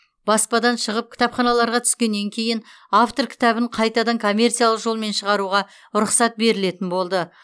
баспадан шығып кітапханаларға түскеннен кейін автор кітабын қайтадан коммерциялық жолмен шығаруға рұқсат берілетін болды